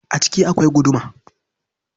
A ciki akwai guduma.